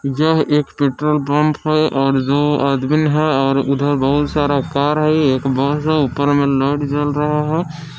यह एक petrol pump है और दो आदमीन है और उधर बहुत सारा कार है एक बास है ऊपर में लाइट जल रहा है।